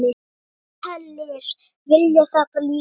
Ítalir vilja þetta líka.